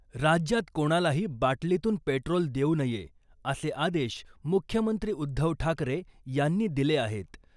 राज्यात कोणालाही बाटलीतून पेट्रोल देऊ नये , असे आदेश मुख्यमंत्री उद्धव ठाकरे यांनी दिले आहेत .